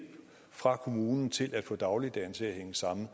fra kommunen til at få dagligdagen til at hænge sammen